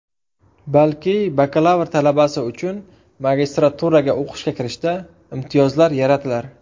Balki bakalavr talabasi uchun magistraturaga o‘qishga kirishda imtiyozlar yaratilar”.